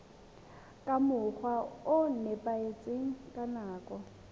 ka mokgwa o nepahetseng nakong